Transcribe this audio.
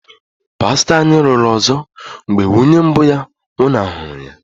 pastọ anyị lụrụ ọzọ mgbe nwunye mbụ ya nwụnahụrụ ya.